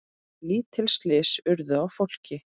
Lítil slys urðu á fólki.